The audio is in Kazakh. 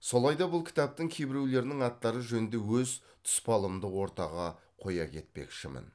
солай да бұл кітаптың кейбіреулерінің аттары жөнінде өз тұспалымды ортаға қоя кетпекшімін